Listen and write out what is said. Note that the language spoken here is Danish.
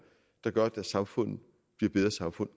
der gør at deres samfund bliver bedre samfund